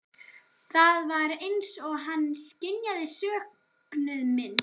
Það var eins og hann skynjaði söknuð minn.